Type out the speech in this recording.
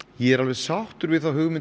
ég er alveg sáttur við þá hugmynd